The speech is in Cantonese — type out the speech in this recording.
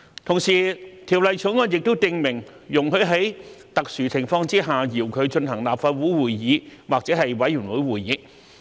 同時，《條例草案》也訂明，容許在特殊情況下遙距進行立法會會議或委員會會議。